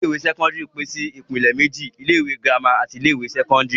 Ilé-ìwé sẹ́kọ́ndárì pín sí ìpèlè méjì. Ilé-ìwé girama àti ilé-ìwé sẹ́kọ́ndárì.